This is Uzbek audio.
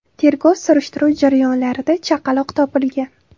Tergov-surishtiruv jarayonlarida chaqaloq topilgan.